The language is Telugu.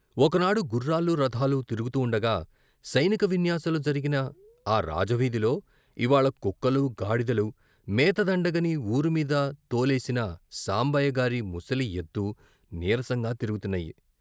ఒకనాడు గుర్రాలు, రథాలు తిరుగుతూ ఉండగా సైనిక విన్యాసాలు జరిగిన ఆ రాజవీధిలో ఇవ్వాళ కుక్కలూ, గాడిదలూ, మేత దండగని ఊరు మీద తోలేసిన సాంబయ్య గారి ముసలి ఎద్దూ నీరసంగా తిరుగుతున్నాయి.